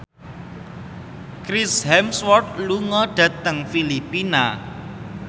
Chris Hemsworth lunga dhateng Filipina